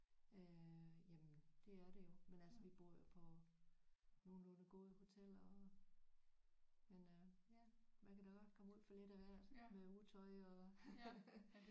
Øh jamen det er det jo men altså vi bor jo på nogenlunde gode hoteller og men øh man kan da godt komme ud for lidt af hvert med utøj og